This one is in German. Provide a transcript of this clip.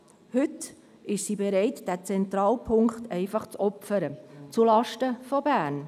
Heute ist die SRG bereit, diesen zentralen Punkt einfach zu opfern, zulasten von Bern.